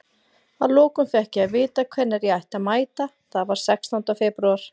Að lokum fékk ég að vita hvenær ég ætti að mæta, það var sextánda febrúar.